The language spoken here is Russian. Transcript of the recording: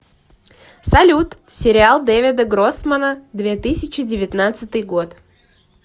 салют сериал дэвида гроссмана две тысячи девятнадцатый год